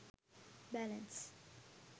balance